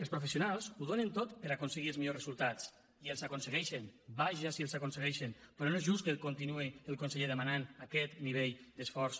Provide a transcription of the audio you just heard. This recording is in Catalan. els professionals ho donen tot per a aconseguir els millors resultats i els aconsegueixen vaja si els aconsegueixen però no és just que continuï el conseller demanant aquest nivell d’esforç